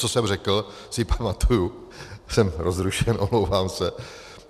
co jsem řekl, si pamatuji - jsem rozrušen, omlouvám se.